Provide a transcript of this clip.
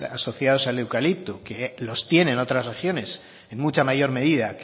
asociados al eucalipto que los tienen otras regiones en mucha mayor medida